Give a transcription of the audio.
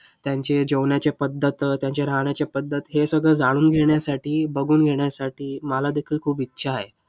त्यांची जेवण्याची पद्धत, त्यांचे राहण्याचे पद्धत हे सगळं जाणून घेण्यासाठी, बघून घेण्यासाठी मला देखील खूप इच्छा आहे.